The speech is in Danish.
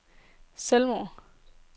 selvmord